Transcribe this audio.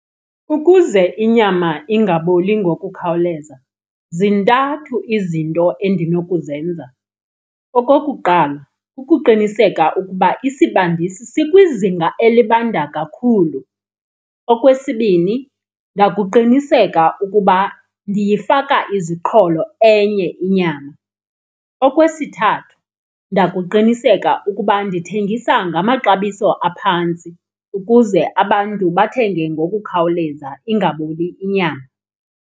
Ukuze inyama ingaboli ngokukhawuleza zintathu izinto endinokuzenza. Okokuqala ukuqinisekisa ukuba isibandisi sikwizinga elibanda kakhulu. Okwesibini ndakuqiniseka ukuba ndiyifaka iziqholo enye inyama. Okwesithathu ndakuqiniseka ukuba ndithengisa ngamaxabiso aphantsi ukuze abantu bathenge ngokukhawuleza, ingaboli inyama.